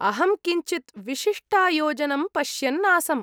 अहं किञ्चिद् विशिष्टायोजनं पश्यन् आसम्।